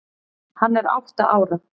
Hann er átta ára.